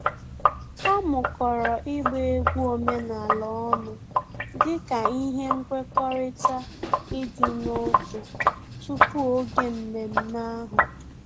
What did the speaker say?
Ha mukọrọ ịgba egwu omenala ọnụ dị ka ihe nkwekọrịta ịdị n'otu tupu oge mmemme ahụ